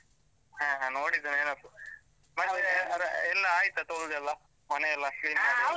ಹ ಹ ನೋಡಿದ ನೆನಪು. ಎಲ್ಲಾ ಆಯ್ತಾ ತೊಳ್ದೆಲ್ಲಾ ಮನೆಯೆಲ್ಲಾ ?